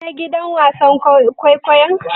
Kun je gidan wasan kwaikwayon?